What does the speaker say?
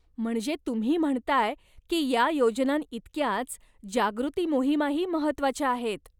म्हणजे तुम्ही म्हणताय की या योजनांइतक्याच जागृती मोहिमाही महत्त्वाच्या आहेत.